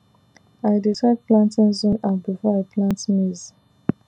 i dey check planting zone app before i plant maize